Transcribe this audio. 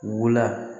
Wula